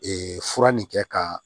fura nin kɛ ka